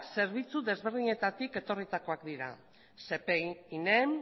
zerbitzu ezberdinetatik etorritakoak dira spee inem